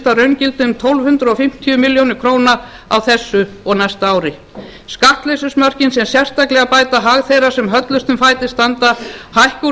að raungildi um tólf hundruð fimmtíu milljónir króna á þessu og næsta ári skattleysismörkin sem sérstaklega bæta hag þeirra sem höllustum fæti standa hækka úr